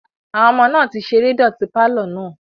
Àwọn ọmọ náà ti ṣeré dọ̀ti pàlọ́ náà